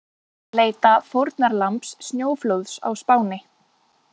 Leita fórnarlambs snjóflóðs á Spáni